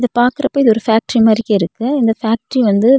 பாக்குறப்பா இது ஒரு பேக்ட்ரி மாரி இருக்கு இந்த பேக்ட்ரி வந்து.